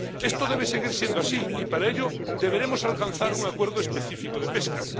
Esto debe seguir siendo así y, para ello, deberemos alcanzar un acuerdo específico de pesca.